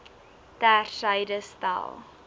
ter syde stel